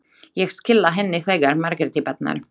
Ég skila henni þegar Margréti batnar.